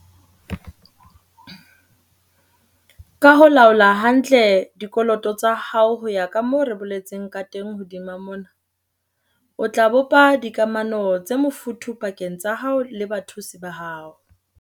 Ka ho laola hantle dikoloto tsa hao ho ya ka moo re boletseng ka teng hodimo mona, o tla bopa dikamano tse mofuthu pakeng tsa hao le bathusi ba hao.